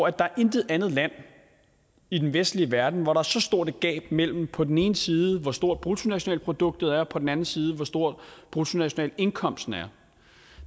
er intet andet land i den vestlige verden hvor der er så stort et gab mellem på den ene side hvor stort bruttonationalproduktet er og på den anden side hvor stor bruttonationalindkomsten er